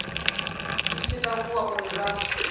i tshi takuwa uri vha